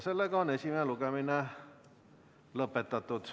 Esimene lugemine on lõpetatud.